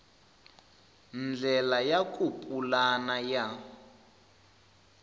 ndlela ya ku pulana ya